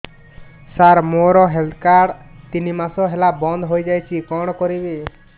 ସାର ମୋର health card ତିନି ମାସ ହେଲା ବନ୍ଦ ହେଇଯାଇଛି କଣ କରିବି